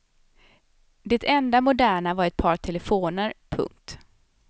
Det enda moderna var ett par telefoner. punkt